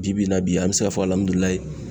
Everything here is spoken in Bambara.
Bi bi in na bi an mɛ se ka fɔ